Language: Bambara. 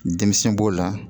Denmisɛn b'o la